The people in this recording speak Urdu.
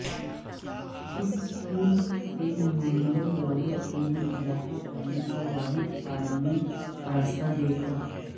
اس اسکول کے نمائندوں دولت میں اضافہ کرنے کا واحد قانونی راستہ دیکھا